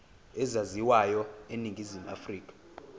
ezaziwayo eningizimu afrika